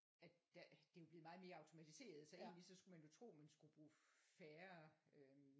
At der det er jo blevet meget mere automatiseret så egentligt så skulle man jo tro at man skulle bruge færre øhm